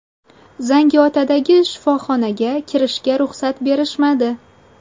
Zangiotadagi shifoxonaga kirishga ruxsat berishmadi.